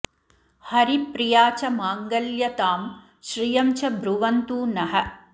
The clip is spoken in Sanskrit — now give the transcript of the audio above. हरिप्रिया च माङ्गल्य तां श्रियं च ब्रुवन्तु नः